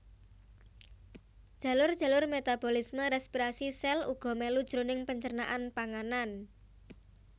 Jalur jalur metabolisme respirasi sèl uga mèlu jroning pencernaan panganan